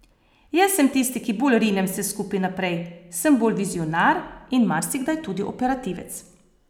Jaz sem tisti, ki bolj rinem vse skupaj naprej, sem bolj vizionar in marsikdaj tudi operativec.